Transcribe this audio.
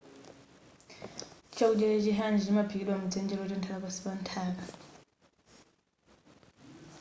chakudya cha chi hangi chimaphikidwa mudzenje lotentha pansi pa nthaka